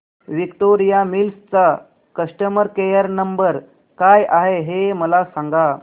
Victoria Mills चा customer care number काय आहे हे मला सांगा